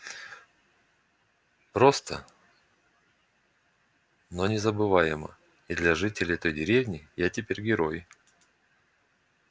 просто но незабываемо и для жителей той деревни я теперь герой